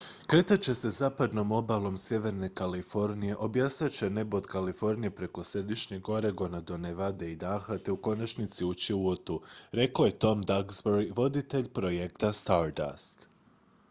"""kretat će se zapadnom obalom sjeverne kalifornije obasjat će nebo od kalifornije preko središnjeg oregona do nevade i idaha te u konačnici ući u utu" rekao je tom duxbury voditelj projekta stardust.